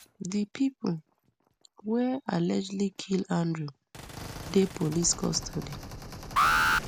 di pipo wey allegedly kill andrew dey police custody